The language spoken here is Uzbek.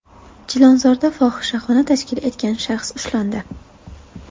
Chilonzorda fohishaxona tashkil etgan shaxs ushlandi.